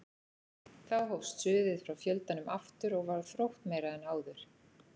Þá hófst suðið frá fjöldanum aftur og var þróttmeira en áður.